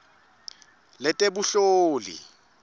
letebunhloli